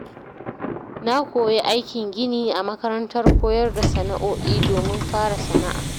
Na koyi aikin gini a makarantar koyar da sana’o’i domin fara sana’a.